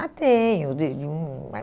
Ah, tenho. De de uma